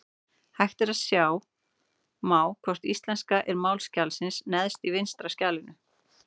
Hægt er að sjá má hvort íslenska er mál skjalsins neðst til vinstri í skjalinu.